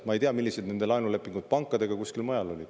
Ma ei tea, millised nende laenulepingud pankadega kuskil mujal olid.